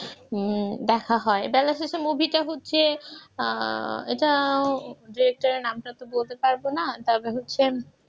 দেখা হয় বেলা শেষে movie টা হচ্ছে আহ এটা director এর নামটা তো বলতে পারব না তবে হচ্ছে